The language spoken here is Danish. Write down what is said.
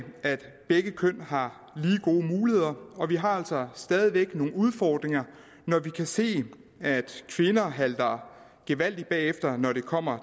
at begge køn har lige gode muligheder og vi har altså stadig væk nogle udfordringer når vi kan se at kvinder halter gevaldigt bagefter når det kommer